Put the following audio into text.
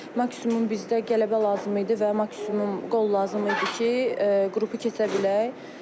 Maksimum bizdə qələbə lazım idi və maksimum qol lazım idi ki, qrupu keçə bilək.